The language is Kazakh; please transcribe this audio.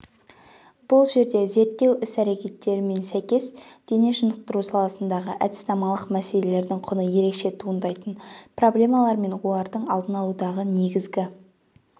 бұл жерде зерттеу іс-әрекеттерімен сәйкес дене шынықтыру саласындағы әдіснамалық мәселелердің құны ерекше туындайтын проблемалар мен олардың алдын алудағы негізгі